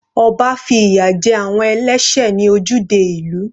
Ọba fi ìyà jẹ àwọn ẹlẹ́sẹ̀ ní ojúde ìlú.